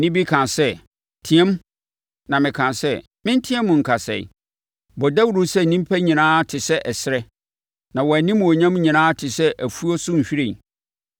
Nne bi kaa sɛ, “Team.” Na mekaa sɛ, “Menteɛm nka sɛn?” “Bɔ dawuro sɛ nnipa nyinaa te sɛ ɛserɛ, na wɔn animuonyam nyinaa te sɛ afuo so nhwiren.